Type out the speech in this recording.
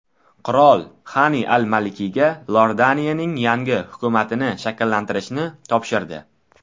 Qirol Xani al-Malkiyga Iordaniyaning yangi hukumatini shakllantirishni topshirdi.